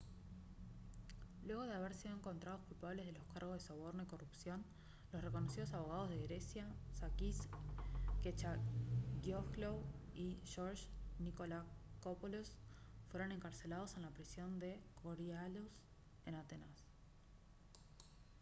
luego de haber sido encontrados culpables de los cargos de soborno y corrupción los reconocidos abogados de grecia sakis kechagioglou y george nikolakopoulos fueron encarcelados en la prisión de korydallus en atenas